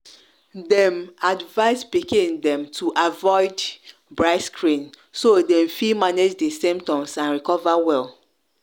dem advise pikin dem to avoid bright screen so dem fit manage di symptoms and recover well.